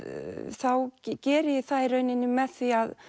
þá geri ég það í rauninni með því